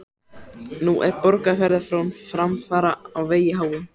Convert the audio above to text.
Nú er Borgarfjarðar frón framfara á vegi háum.